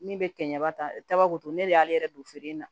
Min bɛ kɛ ɲɛba taba kuntu ne de y'ale yɛrɛ don feere in na